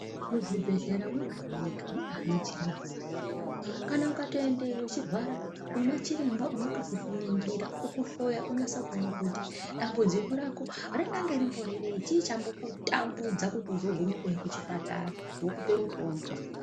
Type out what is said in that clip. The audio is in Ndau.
Muzvibhedhlera mwega-mwega muna anachiremba varimwo. Kana ukatoendeyo uchirwara unoona chiremba uno tokuningira, okuhloya onyase kuona kuti dambudziko rako ringange rimbori rei, chii chambo kutambudza kuti uzogume kuuya kuchipatara, vokupe mutombo.